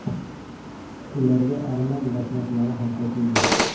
Ularga arman dashnoqlari ham qo‘shildi.